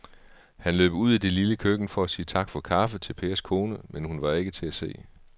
Han løb ud i det lille køkken for at sige tak for kaffe til Pers kone, men hun var ikke til at se.